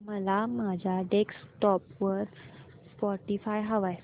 मला माझ्या डेस्कटॉप वर स्पॉटीफाय हवंय